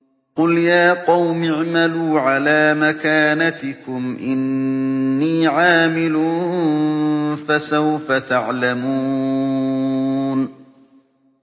قُلْ يَا قَوْمِ اعْمَلُوا عَلَىٰ مَكَانَتِكُمْ إِنِّي عَامِلٌ ۖ فَسَوْفَ تَعْلَمُونَ